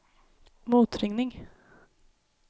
motringning